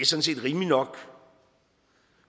set rimeligt nok